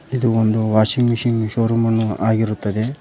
ಇದು ಒಂದು washing machine show ರೂಮನ್ನು ಆಗಿರುತ್ತದೆ.